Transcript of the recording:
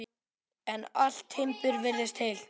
En allt timbur virtist heilt.